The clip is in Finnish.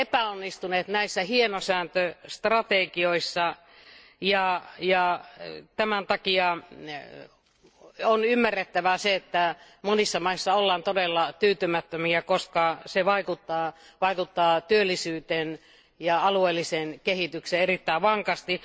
Me olemme epäonnistuneet näissä hienosäätöstrategioissa ja tämän takia on ymmärrettävää, että monissa maissa ollaan todella tyytymättömiä, koska tämä vaikuttaa työllisyyteen ja alueelliseen kehitykseen erittäin vankasti.